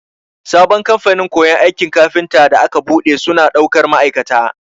Sabon kamfanin koyon aikin kafinta da aka buɗe, suna ɗaukar ma'aikata.